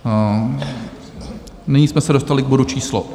Nyní jsme se dostali k bodu číslo